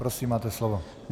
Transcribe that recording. Prosím, máte slovo.